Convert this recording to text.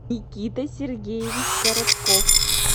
никита сергеевич коротков